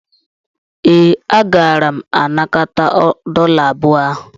Ee, agara m anakọta dọla abụọ ahụ.